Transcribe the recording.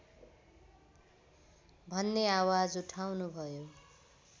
भन्ने आवाज उठाउनुभयो